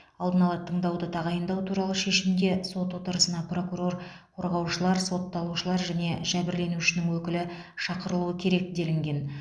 алдын ала тыңдауды тағайындау туралы шешімде сот отырысына прокурор қорғаушылар сотталушылар және жәбірленушінің өкілі шақырылуы керек делінген